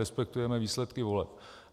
Respektujeme výsledky voleb.